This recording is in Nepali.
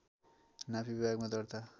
नापी विभागमा दर्ता